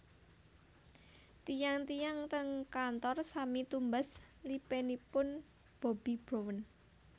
Tiyang tiyang teng kantor sami tumbas lipenipun Bobbi Brown